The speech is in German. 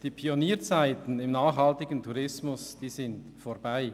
Die Pionierzeiten im nachhaltigen Tourismus sind vorbei.